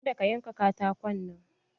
ka da ka yanka katakon nan!